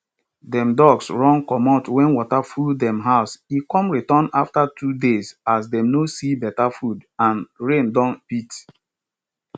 dem ducks run comot wen water full dem house e con return afta two days as dem no see beta food and rain don beat